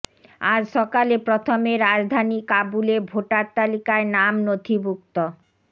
আজ সকালে প্রথমে রাজধানী কাবুলে ভোটার তালিকায় নাম নথিভুক্তি